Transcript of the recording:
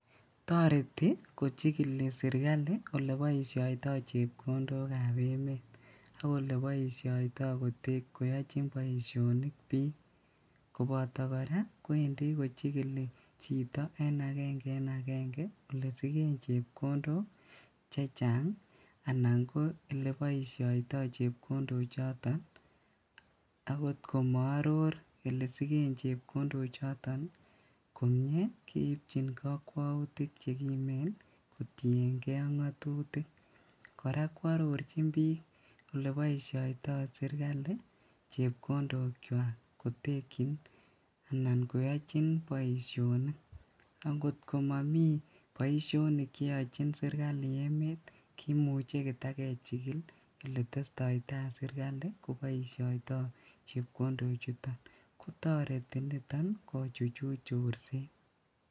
Toreti kojigili sirkali oleboishotoi chepkondokab emet ak oleboishoitoi koyochin boisionik bik, koboto koraa kowendi kochigili chito en agenge en agenge ole sigen chepkondok chechang anan ko eleboishoito chepkondochoton kokot komo oror elesiken chepkondochoton komie keipchin kokwoutik chekimen kotiengee ngatutik koraa kwororjin, kwororjin bik oleboishotoi sirkali chepkondokwak kotekyin anan koyojin boisionik angot komomi boisionik cheyojin sirkali emet kimuche kotakejigil oletestoitaa sirkali koboishoito chepkondochuton toreti niton kochuchuch chorset.